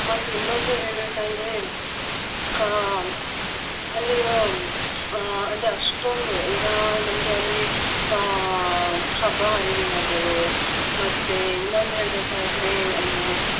ಮತ್ತೆ ಇನ್ನೊಂದು ಹೇಳ್ಬೇಕಾದರೆ ಅಹ್ ಅಲ್ಲಿರೋ ಅಹ್ ಅಂದ್ರೆ ಅಷ್ಟೊಂದು ಈಗ ನಮ್ಗೆ ಅಲ್ಲಿ ಅಹ್ ಹಬ್ಬ ಹರಿದಿನಗಳು ಮತ್ತೆ ಇನ್ನೊಂದು ಹೇಳ್ಬೇಕಾದರೆ ಅಹ್